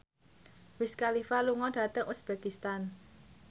Wiz Khalifa lunga dhateng uzbekistan